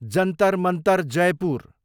Jantar Mantar, Jaipur